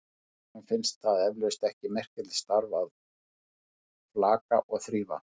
Honum finnst það eflaust ekki merkilegt starf að flaka og þrífa.